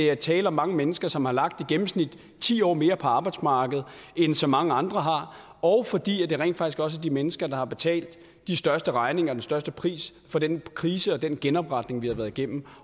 er tale om mange mennesker som har lagt i gennemsnit ti år mere på arbejdsmarkedet end så mange andre har og fordi det rent faktisk også er de mennesker der har betalt de største regninger og den største pris for den krise og den genopretning vi har været igennem